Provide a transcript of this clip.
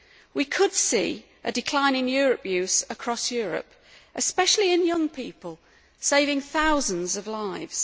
we could see a decline in tobacco use across Europe, especially among young people, saving thousands of lives.